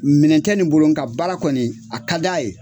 Minɛn tɛ nin bolo nka baara kɔni, a ka di a ye.